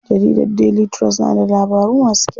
Jarida Daily trust na da labaru masu kyau.